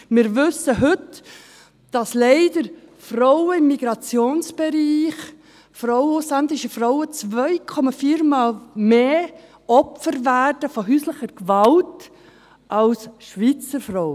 Wir wissen heute, dass leider Frauen im Migrationsbereich, ausländische Frauen, 2,4-mal mehr Opfer von häuslicher Gewalt werden als Schweizer Frauen.